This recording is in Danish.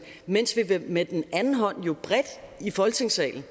mens vi med den anden hånd bredt i folketingssalen